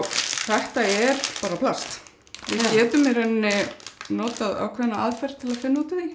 þetta er bara plast við getum í rauninni notað ákveðna aðferð til að finna út úr því